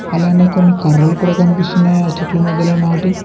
అలానే కొన్ని కర్రలు కూడా కనిపిస్తున్నాయా చెట్లు మధ్యలో నాటి--